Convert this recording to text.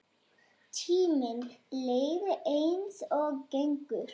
Tíminn leið eins og gengur.